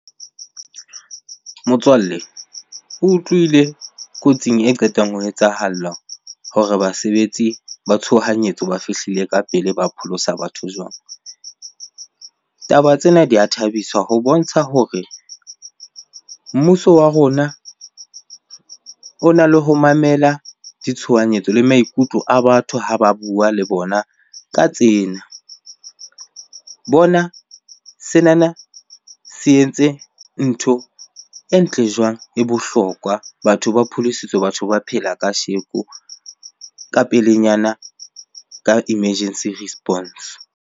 Motswalle, o utlwile kotsing e qetang ho etsahalla hore basebetsi ba tshohanyetso ba fihlile ka pele, ba pholosa batho jwang? Taba tsena di a thabisa ho bontsha hore mmuso wa rona ona le ho mamela ditshohanyetso le maikutlo a batho ha ba bua le bona ka tsena. Bona senana se entse ntho e ntle jwang, e bohlokwa. Batho ba pholositswe, batho ba phela kasheko, ka pelenyana ka emergency response.